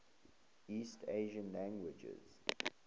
east asian languages